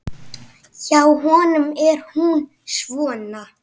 Hjá honum er hún svona